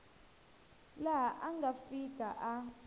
laha a nga fika a